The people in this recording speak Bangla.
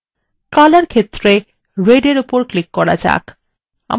color ক্ষেত্রে red in উপর click করা যাক